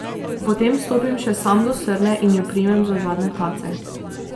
Potem stopim še sam do srne in jo primem za zadnje tace.